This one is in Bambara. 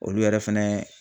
Olu yɛrɛ fɛnɛ